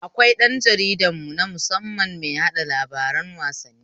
Akwai ɗan jarida nu musamman mai yaɗa labaran wasanni